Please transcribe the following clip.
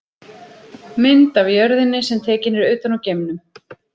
Mynd af jörðinni sem tekin er utan úr geimnum.